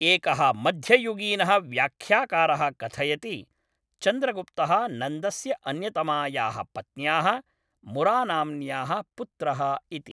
एकः मध्ययुगीनः व्याख्याकारः कथयति, चन्द्रगुप्तः नन्दस्य अन्यतमायाः पत्न्याः, मुरानाम्न्याः पुत्रः इति।